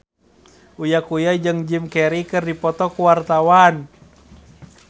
Uya Kuya jeung Jim Carey keur dipoto ku wartawan